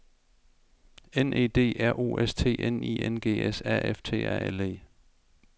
N E D R U S T N I N G S A F T A L E